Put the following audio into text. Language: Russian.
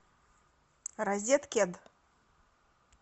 розеткед